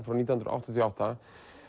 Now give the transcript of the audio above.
frá nítján hundruð áttatíu og átta